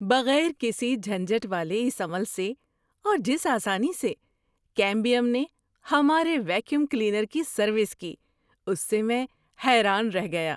بغیر کسی جھنجھٹ والے اس عمل سے اور جس آسانی سے کیمبیم نے ہمارے ویکیوم کلینر کی سروس کی اس سے میں حیران رہ گیا۔